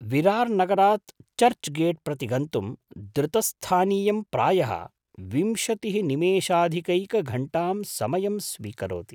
विरार् नगरात् चर्च् गेट् प्रति गन्तुं द्रुतस्थानीयं प्रायः विंशतिः निमेषाधिकैकघण्टां समयं स्वीकरोति।